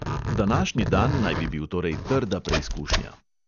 Današnji dan naj bi bil torej trda preizkušnja.